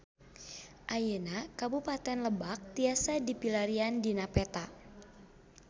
Ayeuna Kabupaten Lebak tiasa dipilarian dina peta